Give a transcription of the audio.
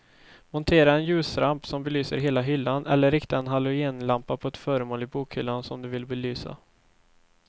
Montera en ljusramp som belyser hela hyllan eller rikta en halogenlampa på ett föremål i bokhyllan som du vill belysa.